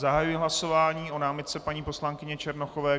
Zahajuji hlasování o námitce paní poslankyně Černochové.